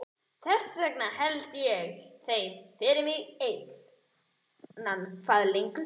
Þess vegna held ég þeim fyrir mig einan eitthvað lengur.